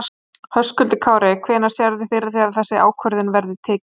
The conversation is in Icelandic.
Höskuldur Kári: Hvenær sérðu fyrir þér að þessi ákvörðun verði tekin?